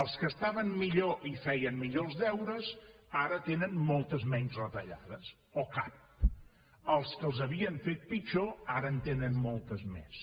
els que estaven millor i feien millor els deures ara tenen moltes menys retallades o cap els que els havien fet pitjor ara en tenen moltes més